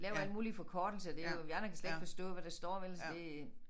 Laver alle mulige forkortelser det jo vi andre kan slet ikke forstå hvad der står vel så det